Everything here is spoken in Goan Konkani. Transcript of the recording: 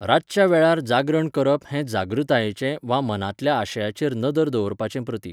रातच्या वेळार जागरण करप हें जागृतायेचें वा मनांतल्या आशयाचेर नदर दवरपाचें प्रतीक.